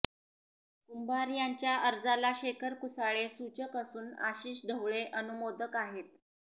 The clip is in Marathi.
कुंभार यांच्या अर्जाला शेखर कुसाळे सूचक असून आशिष ढवळे अनुमोदक आहेत